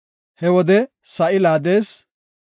He wode sa7i laadees.